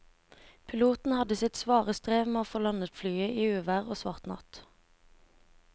Piloten hadde sitt svare strev med å få landet flyet i uvær og svart natt.